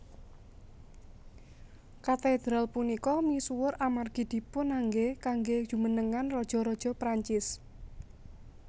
Katedral punika misuwur amargi dipunanggé kanggé jumenengan raja raja Prancis